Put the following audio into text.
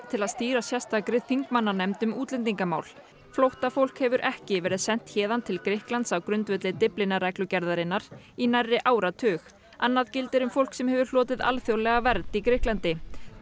til að stýra sérstakri þingmannanefnd um útlendingamál flóttafólk hefur ekki verið sent héðan til Grikklands á grundvelli Dyflinnarreglugerðarinnar í nærri áratug annað gildir um fólk sem hefur hlotið alþjóðlega vernd í Grikklandi